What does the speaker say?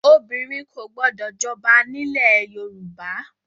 Obìnrin kò gbọdọ̀ jọba nílẹ̀ ẹ Yorùbá!